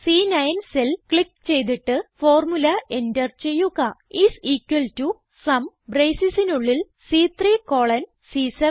C9 cell click ചെയ്തിട്ട് formula enter ചെയ്യുക is equal to sum bracesസിസിനുള്ളിൽ സി3 കോളൻ സി7